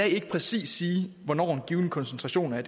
ikke præcis sige hvornår en given koncentration af